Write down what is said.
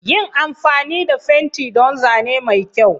Yin amfani da fenti don Zane mai kyau.